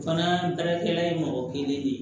O fana baarakɛla ye mɔgɔ kelen de ye